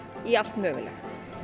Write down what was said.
í allt mögulegt